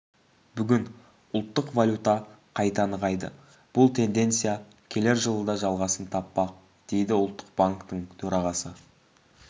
бүгін ұлттық валюта қайта нығайды бұл тенденция келер жылы да жалғасын таппақ дейді ұлттық банктың төрағасы